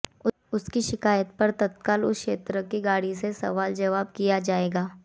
उसकी शिकायत पर तत्काल उस क्षेत्र की गाड़ी से सवाल जवाब किया जाएगा